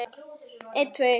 Síðan segir